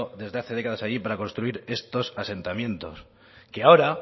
desde hace décadas allí para construir estos asentamientos que ahora